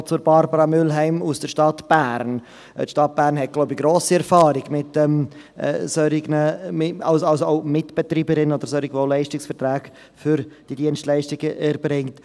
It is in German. Noch zu Barbara Mühlheim aus der Stadt Bern: Die Stadt Bern hat, so glaube ich, grosse Erfahrung als Mitbetreiberin oder mit solchen, die Dienstleistungen für Leistungsverträge erbringen.